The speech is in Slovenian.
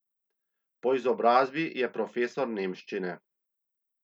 Po izobrazbi je profesor nemščine.